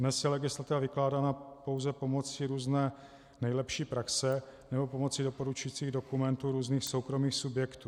Dnes je legislativa vykládána pouze pomocí různé nejlepší praxe nebo pomocí doporučujících dokumentů různých soukromých subjektů.